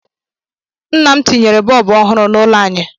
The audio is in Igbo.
Nna m tinyere bọọbụ ọhụrụ n'ụlọ anyị